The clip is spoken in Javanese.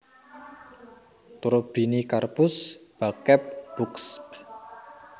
Turbinicarpus Backeb Buxb